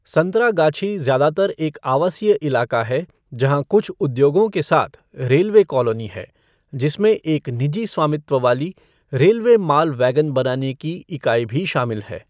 संतरागछी ज्यादातर एक आवासीय इलाका है जहाँ कुछ उद्योगों के साथ रेलवे कॉलोनी है, जिसमें एक निजी स्वामित्व वाली रेलवे माल वैगन बनाने की इकाई भी शामिल है।